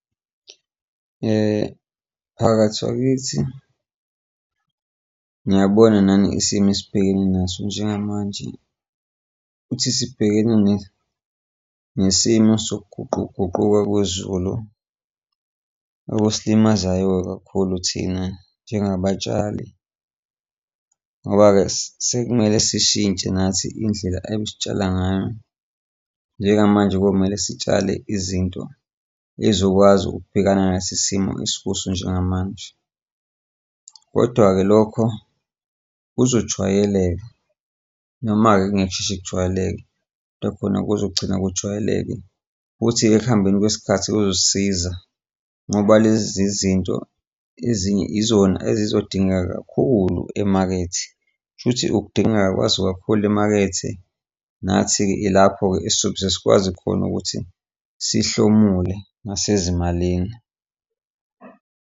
Mphakathi wakithi, niyabona nani isimo esibhekene naso njengamanje ukuthi sibhekene nesimo sokuguquguquka kwezulu. Okusilimazayo-ke kakhulu thina njengabatshali, ngoba-ke sekumele sishintshe nathi indlela ekusitshala ngayo njengamanje komele sitshale izinto ezokwazi ukubhekana nalesi simo esikuso njengamanje. Kodwa-ke lokho kuzojwayeleka noma-ke kungeke kusheshe kujwayeleke, kodwa khona kuzogcina kujwayeleke, futhi-ke ekuhambeni kwesikhathi kuzosisiza ngoba lezi zinto ezinye izona ezizodingeka kakhulu emakethe, kusho ukuthi ukudingeka kwazo kakhulu emakethe nathi-ke ilapho-ke esizosheshe sikwazi khona ukuthi sihlomule nasezimalini.